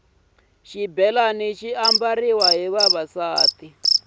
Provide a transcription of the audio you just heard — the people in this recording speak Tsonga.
xibhelani xi ambariwa hi vavasati